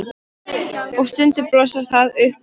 Og stundum blossar það upp í mér.